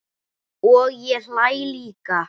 Og ég hlæ líka.